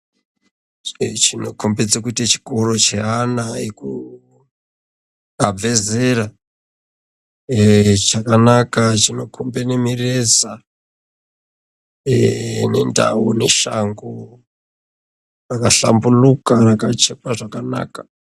Ichi chinokombedze kuite chikoro cheana abva zera, eeh chakanaka chinokombe mireza, eeeh nendau neshango rakahlamburuka rakachekwe zvakanaka.